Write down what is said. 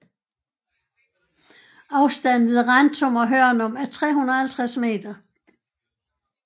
Afstanden ved Rantum og Hørnum er 350 meter